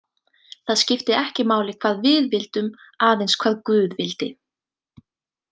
Það skipti ekki máli hvað við vildum, aðeins hvað guð vildi.